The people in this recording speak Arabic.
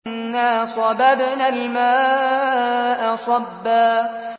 أَنَّا صَبَبْنَا الْمَاءَ صَبًّا